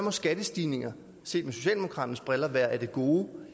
at skattestigninger set med socialdemokraternes briller må være af det gode